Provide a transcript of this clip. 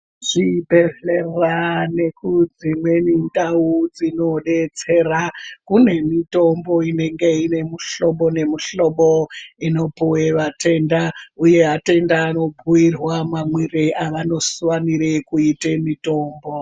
Zvibhehlera nekudzimweni ndau dzinodetsera kune mitombo inenge ine muhlobo nemuhlobo inopuwe vatenda uye atenda vanobhuirwa mamwire avanofanire kuite mitombo.